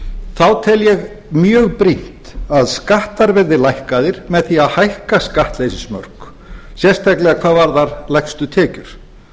þá tel ég mjög brýnt að skattar verði lækkaðir með því að hækka skattleysismörk sérstaklega hvað varðar lægstu tekjur